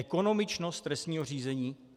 Ekonomičnost trestního řízení?